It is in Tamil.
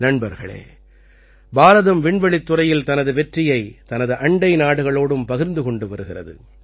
நண்பர்களே பாரதம் விண்வெளித்துறையில் தனது வெற்றியை தனது அண்டை நாடுகளோடும் பகிர்ந்து கொண்டு வருகிறது